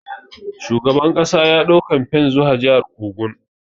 Shugaban kasa ya dau kamfen zuwa jihar Ogun.